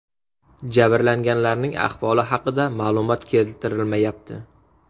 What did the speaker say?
Jabrlanganlarning ahvoli haqida ma’lumot keltirilmayapti.